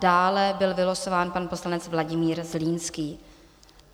Dále byl vylosován pan poslanec Vladimír Zlínský.